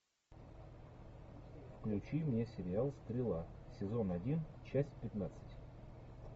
включи мне сериал стрела сезон один часть пятнадцать